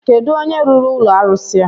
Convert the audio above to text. Kedụ onye rụrụ ụlọ arụsi a?